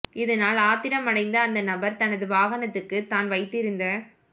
இதனால் ஆத்திரம் அடைந்த அந்த நபர் தனது வாகனத்துக்கு தான் வைத்திருந்த